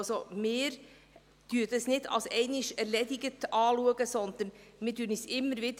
Wir betrachten dies nicht als einmal, sondern stellen uns diese Frage immer wieder.